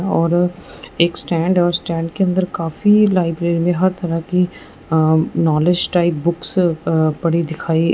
और एक स्टैंड है और स्टैंड के अंदर काफी लाइब्रेरी में हर तरह की um knowledge type books uh पड़ी दिखाई--